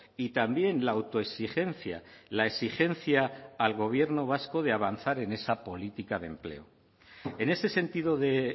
y también la autoexigencia la exigencia al gobierno vasco de avanzar en esa política de empleo en ese sentido de